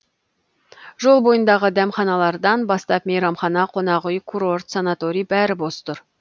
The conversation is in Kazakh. жол бойындағы дәмханалардан бастап мейрамхана қонақүй курорт санаторий бәрі бос тұр